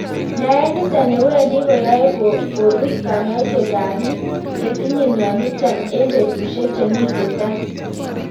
Naet nitok newendi koyae kobis kanyoisetab biik chetinye mionotok eng' betusiek chemite tai